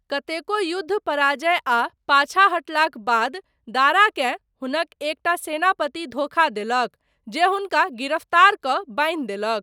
कतेको युद्ध, पराजय आ पाछाँ हटलाक बाद, दाराकेँ हुनक एकटा सेनापति धोखा देलक, जे हुनका गिरफ्तारकऽ बान्हि देलक।